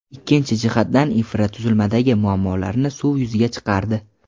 ikkinchi jihatdan infratuzilmadagi muammolarni suv yuziga chiqardi.